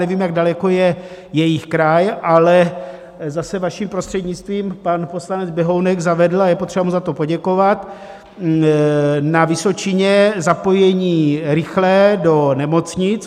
Nevím, jak daleko je jejich kraj, ale zase, vaším prostřednictvím, pan poslanec Běhounek zavedl, a je potřeba mu za to poděkovat, na Vysočině zapojení rychlé do nemocnic.